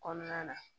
Kɔnɔna na